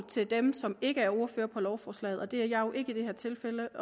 til dem som ikke er ordførere på lovforslagene og det er jeg jo ikke i det her tilfælde